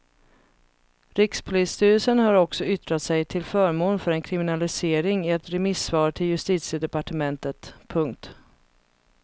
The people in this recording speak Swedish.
Rikspolisstyrelsen har också yttrat sig till förmån för en kriminalisering i ett remissvar till justitiedepartementet. punkt